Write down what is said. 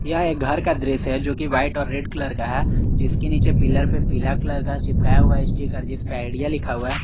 यह एक घर का दृश्य जो कि व्हाइट और रेड कलर का है जिसके नीचे पिलर पे पीला कलर का चिपकाया हुआ स्टीकर जिसपे आइडिया लिखा हुआ है।